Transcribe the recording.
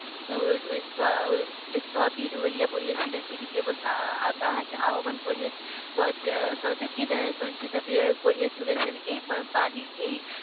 কিন্তু ওই যে স্থবির হয়ে পড়েছিলেন তিনি কেবল তাকে আহ্বান করে সচকি সঞ্চিত করে তুলেছেন এই বাণীর এই